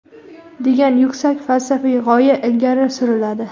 degan yuksak falsafiy g‘oya ilgari suriladi.